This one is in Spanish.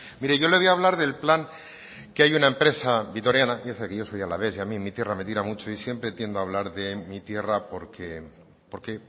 mire yo le voy a hablar del plan que hay una empresa vitoriana piense que yo soy alavés y a mí mi tierra me tira mucho y siempre tiendo a hablar de mi tierra porque